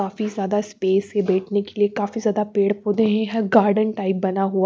काफी ज्यादा स्पेस से बैठने के लिए काफी ज्यादा पेड़ पौधे हैं गार्डन टाइप बना हुआ--